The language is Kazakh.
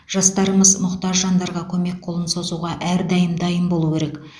жастарымыз мұқтаж жандарға көмек қолын созуға әрдайым дайын болу керек